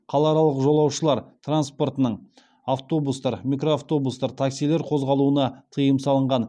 қалааралық жолаушылар транспортының қозғалуына тыйым салынған